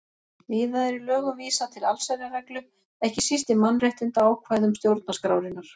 Víða er í lögum vísað til allsherjarreglu, ekki síst í mannréttindaákvæðum stjórnarskrárinnar.